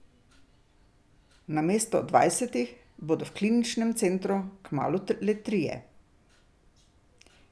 Namesto dvajsetih bodo v kliničnem centru kmalu le trije.